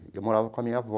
Eu morava com a minha avó.